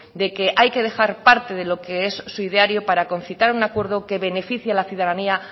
de que hay que dejar parte de lo que es su ideario para concitar un acuerdo que beneficie a la ciudadanía